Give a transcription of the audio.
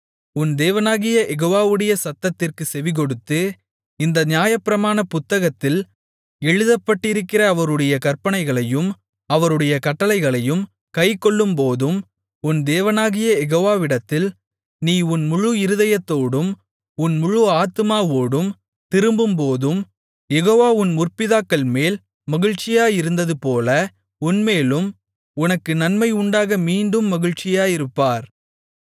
உன் தேவனாகிய யெகோவாவுடைய சத்தத்திற்குச் செவிகொடுத்து இந்த நியாயப்பிரமாண புத்தகத்தில் எழுதப்பட்டிருக்கிற அவருடைய கற்பனைகளையும் அவருடைய கட்டளைகளையும் கைக்கொள்ளும்போதும் உன் தேவனாகிய யெகோவாவிடத்தில் உன் முழு இருதயத்தோடும் உன் முழு ஆத்துமாவோடும் திரும்பும்போதும் யெகோவா உன் முற்பிதாக்கள்மேல் மகிழ்ச்சியாயிருந்ததுபோல உன்மேலும் உனக்கு நன்மை உண்டாக மீண்டும் மகிழ்ச்சியாயிருப்பார்